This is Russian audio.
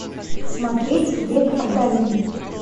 смотреть век адалин